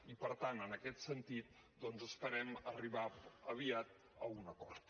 i per tant en aquest sentit doncs esperem arribar aviat a un acord